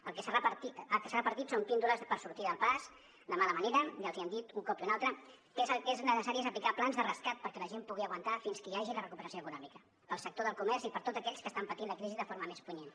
el que s’ha repartit són píndoles per sortir del pas de mala manera i els han dit un cop i un altre que el que és necessari és aplicar plans de rescat perquè la gent pugui aguantar fins que hi hagi la recuperació econòmica per al sector del comerç i per a tots aquells que estan patint la crisi de forma més punyent